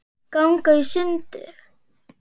ganga í sundur